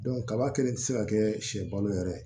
kaba kɛlen tɛ se ka kɛ siyɛ balo yɛrɛ ye